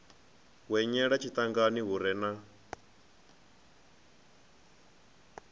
hwenyela tshiṱangani hu re na